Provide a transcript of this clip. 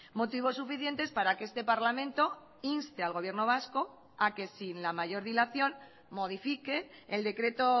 motivos suficientes para que este parlamento inste al gobierno vasco a que sin la mayor dilación modifique el decreto